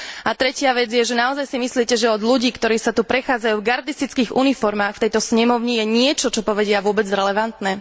A tretia vec je, že naozaj si myslíte, že od ľudí, ktorí sa tu prechádzajú v gardistických uniformách v tejto snemovni, je niečo, čo povedia, vôbec relevantné?